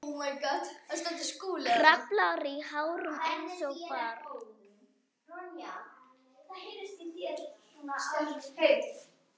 Kraflar í hárunum einsog barn.